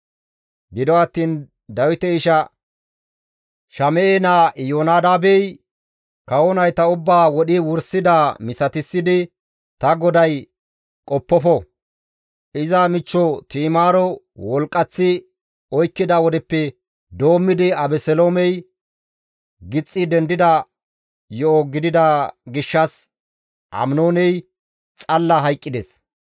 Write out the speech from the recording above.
Gido attiin Dawite isha Shame7e naa Iyoonadaabey, «Kawo nayta ubbaa wodhi wursidaa misatissidi ta goday qoppofo; iza michcho Ti7imaaro wolqqanththi oykkida wodeppe doommidi Abeseloomey gixxi dendida yo7o gidida gishshas Aminooney xalla hayqqides.